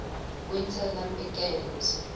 winter olympic games